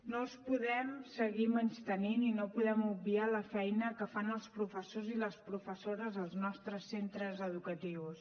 no els podem seguir menystenint i no podem obviar la feina que fan els professors i les professores als nostres centres educatius